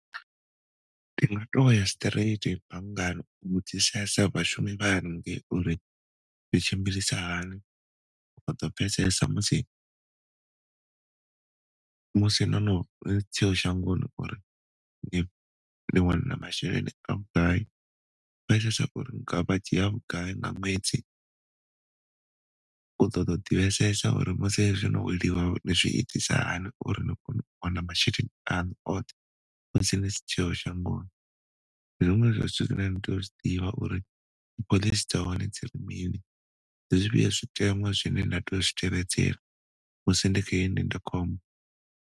Ndi nga to ya straight banngani u vhudzisesa vhashumi vha hane ngei uri ndi tshimbilisa hani u ḓo pfesesa musi, musi ndo ndi si tsheo shangoni uri ndi wana masheleni a vhugai vha dzhia vhugai nga ṅwedzi. U ṱoḓa u ḓi vhesesa uri musi zwino ezwi wo no weliwa u zwiitisa hani uri ni kone u wana masheleni aṋu oṱhe musi ni si tsheo shangoni. Ndi zwiṅwe zwa zwithu zwine na tea u zwi ḓivha uri phoḽisi dza hone dzi ri mini ndi zwi fhio zwi teṅwa zwine na tea u zwi tevheledzela musi ndi kha heyi ndindakhombo.